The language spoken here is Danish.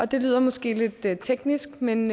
det lyder måske lidt teknisk men